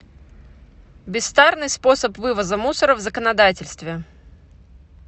бестарный способ вывоза мусора в законодательстве